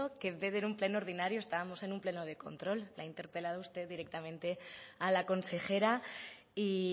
que en vez de en un pleno ordinario estábamos en un pleno de control le ha interpelado usted directamente a la consejera y